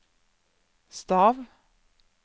stav